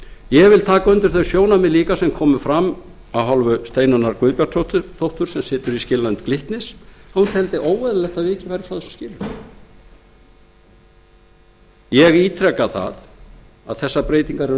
ég vil taka undir þau sjónarmið líka sem komu fram af hálfu steinunnar guðbjartsdóttur sem situr í skilanefnd glitnis að hún teldi óeðlilegt að vikið væri fraþessum skilyrðum minni hlutinn telur nefndar breytingar